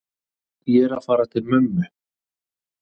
Ég er að fara til mömmu.